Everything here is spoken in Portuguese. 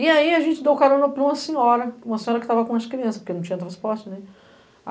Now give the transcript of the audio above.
E aí a gente deu o carona para uma senhora, uma senhora que estava com as crianças, porque não tinha transporte.